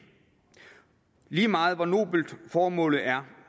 lige meget hvor nobelt formålet er